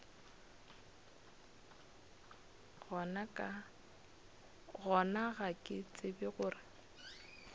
gona ga ke tsebe gore